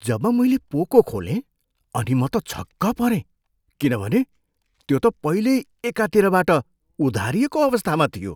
जब मैले पोको खोलेँ अनि म त छक्क परेँ किनभने त्यो त पहिल्यै एकातिरबाट उधारिएको अवस्थामा थियो।